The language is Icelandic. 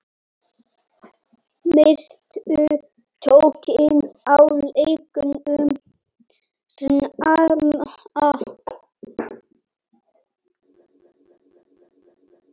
Misstu tökin á leiknum snemma.